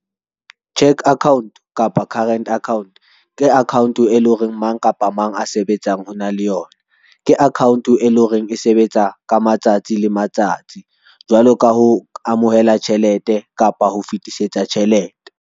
Cheque account kapa current account ke account e leng hore mang kapa mang a sebetsang o na le yona. Ke account e leng hore e sebetsa ka matsatsi le matsatsi jwalo ka ho amohela tjhelete kapa ho fetisetsa tjhelete.